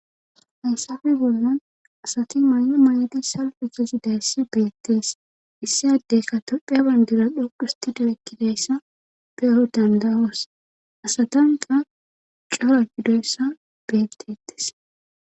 haysafe bollan asati may7o may7edi salpekezi dayssi beettees issadeyka topheya bandira dhoqustidu ekkidayssa peero dandawos asatanqa cora gidoyssa beettetes